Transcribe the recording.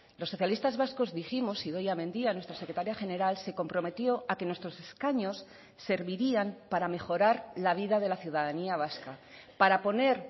los socialistas vascos dijimos idoia mendia nuestra secretaria general se comprometió a que nuestros escaños servirían para mejorar la vida de la ciudadanía vasca para poner